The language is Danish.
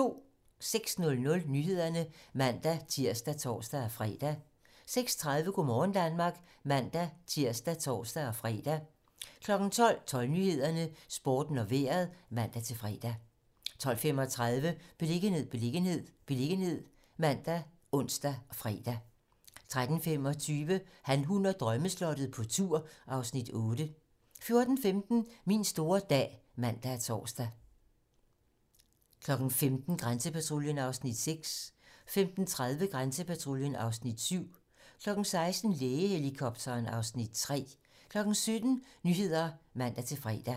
06:00: Nyhederne (man-tir og tor-fre) 06:30: Go' morgen Danmark (man-tir og tor-fre) 12:00: 12 Nyhederne, Sporten og Vejret (man-fre) 12:35: Beliggenhed, beliggenhed, beliggenhed ( man, ons, fre) 13:25: Han, hun og drømmeslottet - på tur (Afs. 8) 14:15: Min store dag (man og tor) 15:00: Grænsepatruljen (Afs. 6) 15:30: Grænsepatruljen (Afs. 7) 16:00: Lægehelikopteren (Afs. 3) 17:00: 17 Nyhederne (man-fre)